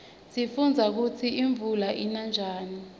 sifundza kutsi imuula ina njani